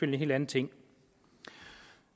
en helt anden ting